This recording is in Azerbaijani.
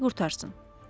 hər şey qurtarsın.